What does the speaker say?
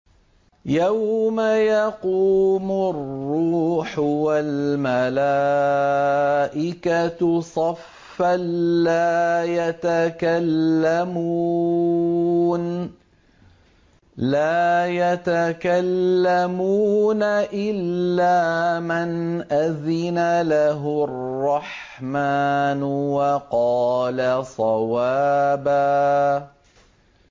يَوْمَ يَقُومُ الرُّوحُ وَالْمَلَائِكَةُ صَفًّا ۖ لَّا يَتَكَلَّمُونَ إِلَّا مَنْ أَذِنَ لَهُ الرَّحْمَٰنُ وَقَالَ صَوَابًا